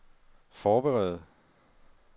forbedre